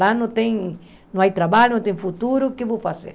Lá não tem... Não tem trabalho, não tem futuro, o que eu vou fazer?